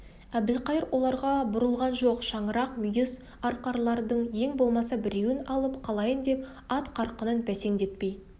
әбілқайыр оларға бұрылған жоқ шаңырақ мүйіз арқарлардың ең болмаса біреуін алып қалайын деп ат қарқынын бәсеңдетпей